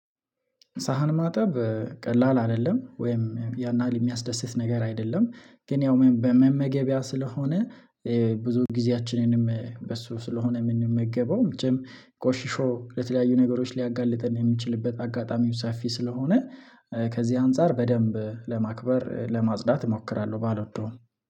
ሳህን ማጠብ ቀላል አይደለም ወይም ያን ያህል የሚያስደስት ነገር አይደለም ግን ያው በመመገቢያ ስለሆነ ብዙ ጊዜያችንንም በሱ ስለሆነ የምንመገበው። ቁሽሾ ለተለያዩ ነገሮች ሊያጋልጥን የሚችልበት አጋጣሚ ውሳፊ ስለሆነ ከዚህ አንፃር በደንብ ለማክበር ለማጽዳት እሞክራለሁ። ባልወደውም